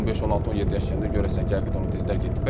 15, 16, 17 yaş gələndə görəcəksən ki, həqiqətən o dizlər getdi.